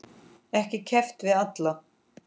Ekki keppt við alla?